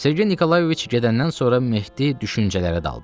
Sergey Nikolayeviç gedəndən sonra Mehdi düşüncələrə daldı.